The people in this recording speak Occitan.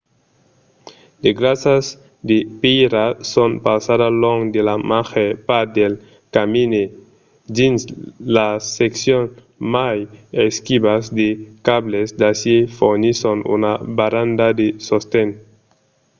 de grasas de pèira son pausadas long de la màger part del camin e dins las seccions mai esquivas de cables d'acièr fornisson una baranda de sosten